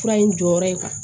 Fura in jɔyɔrɔ ye